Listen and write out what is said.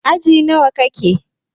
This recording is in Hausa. Aji nawa kike?